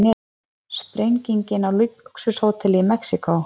Sprenging á lúxushóteli í Mexíkó